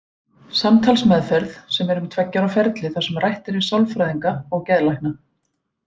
Samtalsmeðferð, sem er um tveggja ára ferli þar sem rætt er við sálfræðinga og geðlækna.